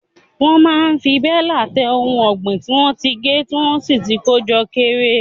Wọ́n máa fi bélà tẹ ohun ọ̀gbìn tí wọ́n ti gé tí wọ́n sì ti kó jọ kéré.